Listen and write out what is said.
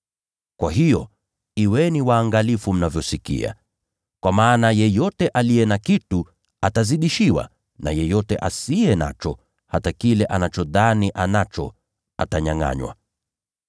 Kwa hiyo, kuweni waangalifu mnavyosikia. Kwa maana yeyote aliye na kitu atapewa zaidi. Lakini yule asiye na kitu, hata kile anachodhani anacho atanyangʼanywa.”